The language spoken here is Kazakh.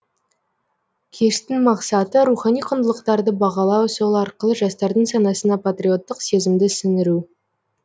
кештің мақсаты рухани құндылықтарды бағалау сол арқылы жастардың санасына патриоттық сезімді сіңіру